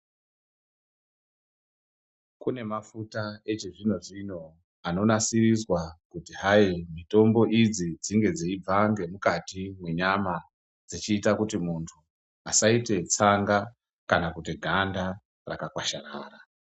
Kune mafuta yechizvinozvino anonasiriswa kuti hai mitombo idzi dzinge dzeibva ngemukati mwenyama dzechiite kuti muntu asaite tsanga Kana kuti ganda rakakwasharara.